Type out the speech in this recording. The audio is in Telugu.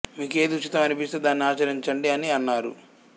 మీకు ఏది ఉచితం అనిపిస్తే దానిని ఆచరించండి అని అన్నారు